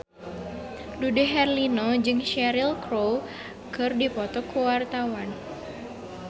Dude Herlino jeung Cheryl Crow keur dipoto ku wartawan